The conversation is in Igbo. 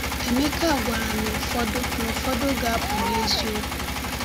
Emeka gwara na ụfọdụ na ụfọdụ ga-apụ n’eziokwu.